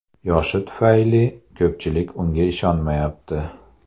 Yoshi tufayli ko‘pchilik unga ishonmayapti.